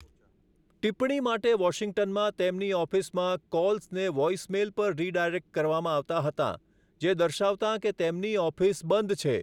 ટિપ્પણી માટે વોશિંગ્ટનમાં તેમની ઑફિસમાં કૉલ્સને વૉઇસમેઇલ પર રીડાયરેક્ટ કરવામાં આવતાં હતા જે દર્શાવતાં કે તેમની 'ઑફિસ બંધ છે'.